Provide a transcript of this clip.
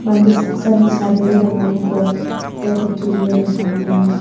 saksani chadenge donganiko ia kutturio nikna man·enga.